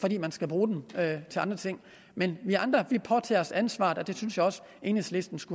fordi man skal bruge dem til andre ting men vi andre påtager os ansvaret og det synes jeg også at enhedslisten skulle